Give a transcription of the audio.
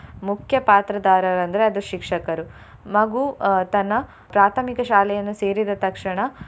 ಮುಖ್ಯ ಪಾತ್ರದಾರರು ಅಂದ್ರೆ ಅದು ಶಿಕ್ಷಕರು. ಮಗು ಅಹ್ ತನ್ನ ಪ್ರಾಥಮಿಕ ಶಾಲೆಯನ್ನು ಸೇರಿದ ತಕ್ಷಣ.